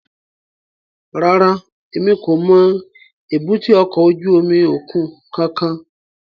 Rárá, Emi ko mọ èbúté ọkọ ojú omi okun kankan